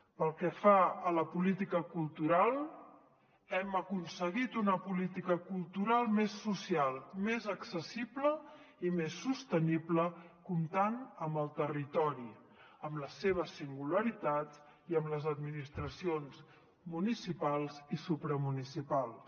pel que fa a la política cultural hem aconseguit una política cultural més social més accessible i més sostenible comptant amb el territori amb les seves singularitats i amb les administracions municipals i supramunicipals